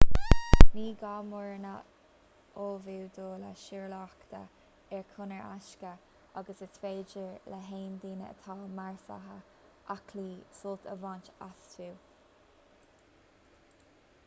ní gá mórán á ullmhú do lá siúlóireachta ar chonair éasca agus is féidir le haon duine atá measartha aclaí sult a bhaint astu